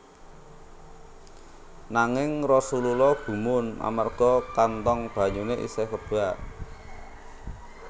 Nanging Rasulullah gumun amarga kantong banyune isih kebak